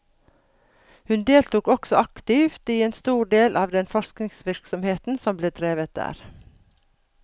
Hun deltok også aktivt i en stor del av den forskningsvirksomheten som ble drevet der.